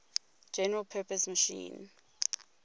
general purpose machine